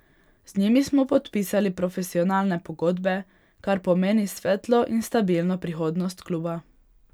Z njimi smo podpisali profesionalne pogodbe, kar pomeni svetlo in stabilno prihodnost kluba.